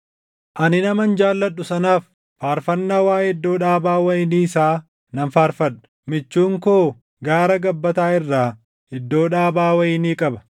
Ani naman jaalladhu sanaaf, faarfannaa waaʼee iddoo dhaabaa wayinii isaa nan faarfadha: Michuun koo gaara gabbataa irraa iddoo dhaabaa wayinii qaba.